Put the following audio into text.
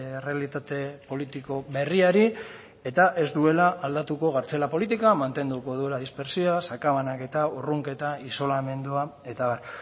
errealitate politiko berriari eta ez duela aldatuko kartzela politika mantenduko duela dispertsioa sakabanaketa urrunketa isolamendua eta abar